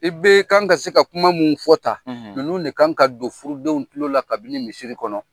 I bɛ kan ka se ka kuma mun fɔ tan ninnu de kan ka se don furudenw tulo la kabini misiri kɔnɔ